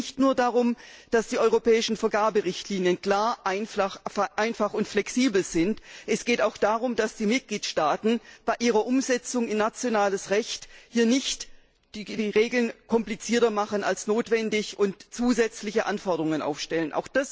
Es geht nicht nur darum, dass die europäischen Vergaberichtlinien klar, einfach und flexibel sind, es geht auch darum, dass die Mitgliedstaaten bei ihrer Umsetzung in nationales Recht nicht die Regeln komplizierter machen als notwendig und zusätzliche Anforderungen aufstellen.